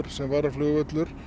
sem varaflugvöllur